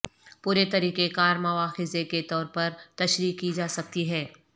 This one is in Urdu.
پورے طریقہ کار مواخذے کے طور پر تشریح کی جا سکتی ہے